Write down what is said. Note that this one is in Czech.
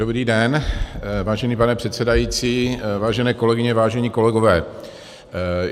Dobrý den, vážený pane předsedající, vážené kolegyně, vážení kolegové.